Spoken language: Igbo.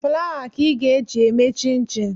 Fụlawa ka ị ga e ji eme chinchin